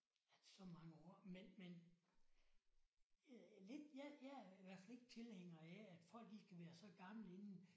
At så mange år men men jeg er lidt jeg jeg er i hvert fald ikke tilhænger af at folk de skal være så gamle inden